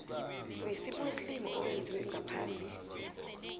wesimuslimu owenziwe ngaphambi